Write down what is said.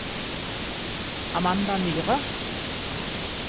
Amanda Myhre